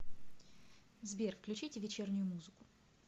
сбер включите вечернюю музыку